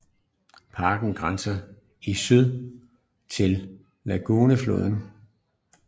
Parken grænser i syd til Iguaçufloden